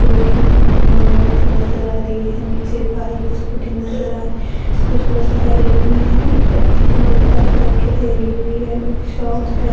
मोती नजर आ रही है नीचे बाइक स्कूटी नजर आ कुछ लोग ठहरे हुए हैं एक बच्ची का रख के हुई है एक शॉप है।